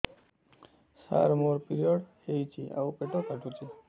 ସାର ମୋର ପିରିଅଡ଼ ହେଇଚି ଆଉ ପେଟ କାଟୁଛି